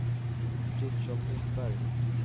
Fritiof Lundberg